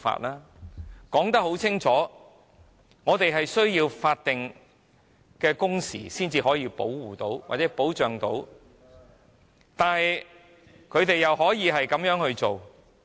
我們已經清楚表明，必須訂立法定工時才可保障僱員，但他們竟然這樣做......